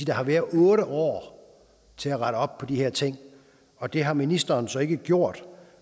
har været otte år til at rette op på de her ting i og det har ministeren så ikke gjort